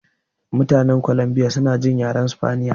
Mutanen Columbia suna jin yaren sifaniya